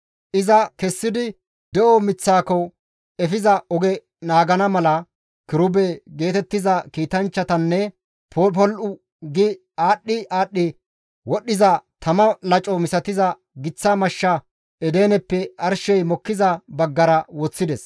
Iza kessidi, de7o miththaako efiza oge naagana mala, kirube geetettiza kiitanchchatanne popol7u gi aadhdhi aadhdhi wodhdhiza tama laco misatiza giththa mashsha Edeneppe arshey mokkiza baggara woththides.